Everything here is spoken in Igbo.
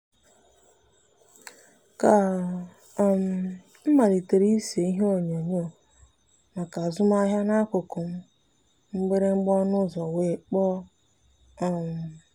ka um m malitere ịse ihe onyonyo maka azụmahịa n'akụkụ m mgbịrịgba ọnụ ụzọ wee kpọọ. um